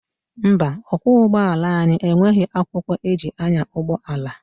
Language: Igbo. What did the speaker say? Mba, ọkwọ ụgbọala anyị enweghị akwụkwọ eji anya ụgbọala.